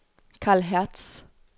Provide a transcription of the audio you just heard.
Karl Hertz